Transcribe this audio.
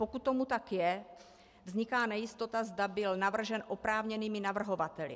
Pokud tomu tak je, vzniká nejistota, zda byl navržen oprávněnými navrhovateli.